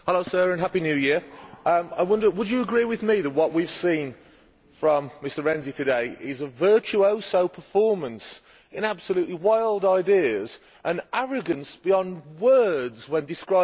I wonder would you agree with me that what we have seen from Mr Renzi today is a virtuoso performance with absolutely wild ideas and arrogance beyond words when describing the people who oppose him?